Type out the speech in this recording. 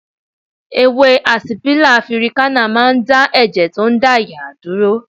Ewé àsìpílà afirikánà máa ń dá ẹ̀jẹ̀ tó ń dà yàà dúró